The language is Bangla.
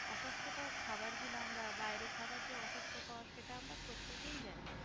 অস্বাস্থকর খাবার গুলো আমরা বাইরের খাবার যে অস্বাস্থকর সেটা আমরা প্রত্যেকেই জানি